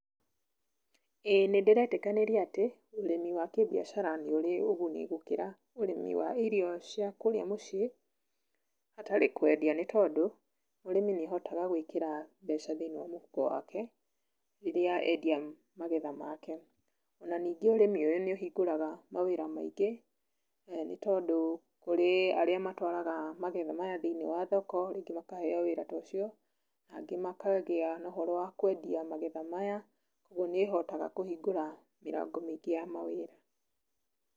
Ĩĩ nĩndĩretĩkanĩria atĩ, ũrĩmi wa kĩbiacara nĩ ũrĩ ũguni gũkĩra ũrĩmi wa irio cia kũrĩa mũciĩ hatarĩ kwendia nĩ tondũ, mũrĩmi nĩ ahotaga gwĩkĩra mbeca thĩiniĩ wa mũhuko wake, rĩrĩa endia magetha make. Ona ningĩ ũrĩmi ũyũ nĩ ũhingũraga mawĩra maingĩ, nĩ tondũ kũrĩ arĩa matwaraga magetha maya thĩiniĩ wa thoko, rĩngĩ makaheo wĩra ta ũcio na angĩ makagĩa na ũhoro wa kwendia magetha maya, kwoguo nĩ ũhotaga kũhingũra mĩrango mĩingĩ ya mawĩra.